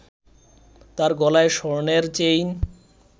তার গলায় স্বর্ণের চেইন